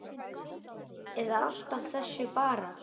Eða allt af þessu bara?